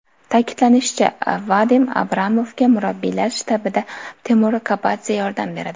Ta’kidlanishicha, Vadim Abramovga murabbiylar shtabida Temur Kapadze yordam beradi.